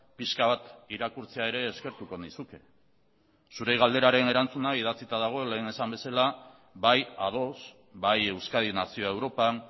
pixka bat irakurtzea ere eskertuko nizuke zure galderaren erantzuna idatzita dago lehen esan bezala bai ados bai euskadi nazioa europan